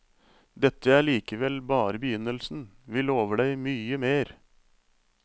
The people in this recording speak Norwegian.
Dette er likevel bare begynnelsen, vi lover deg mye mer.